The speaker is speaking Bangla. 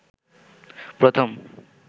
প্রথম